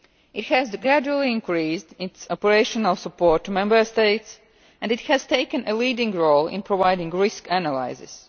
It has gradually increased its operational support to Member States and has taken a leading role in providing risk analysis.